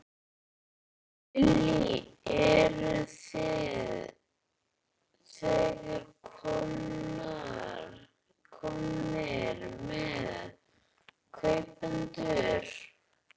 Lillý: Eruð þið þegar komnir með kaupendur?